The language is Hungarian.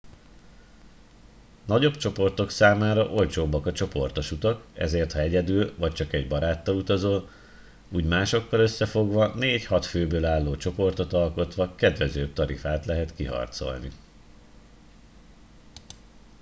nagyobb csoportok számára olcsóbbak a csoportos utak ezért ha egyedül vagy csak egy baráttal utazol úgy másokkal összefogva 4-6 főből álló csoportot alkotva kedvezőbb tarifát lehet kiharcolni